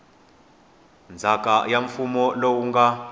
ndzhaka ya mfuwo lowu nga